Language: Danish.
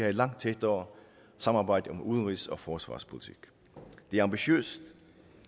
et langt tættere samarbejde om udenrigs og forsvarspolitik det er ambitiøst